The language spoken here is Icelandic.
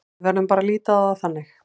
Við verðum bara að líta á það þannig.